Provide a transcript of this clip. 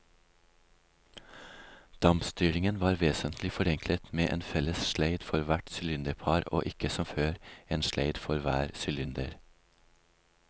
Dampstyringen var vesentlig forenklet med en felles sleid for hvert sylinderpar og ikke som før, en sleid for hver sylinder.